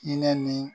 Hinɛ ni